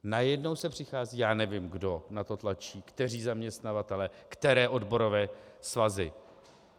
Najednou se přichází - já nevím, kdo na to tlačí, kteří zaměstnavatelé, které odborové svazy.